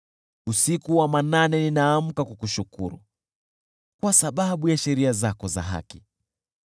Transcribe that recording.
Usiku wa manane ninaamka kukushukuru kwa sababu ya sheria zako za haki.